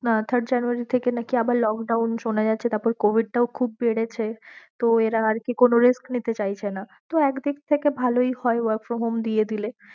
না third January থেকে নাকি আবার lockdown সোনাযাচ্ছে তারপর covid টাও খুব বেড়েছে তো এরা আর কি কোনো risk নিতে চাইছে না।